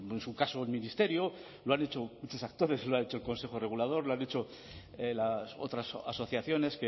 en su caso el ministerio lo han dicho muchos actores lo ha hecho el consejo regulador lo han hecho las otras asociaciones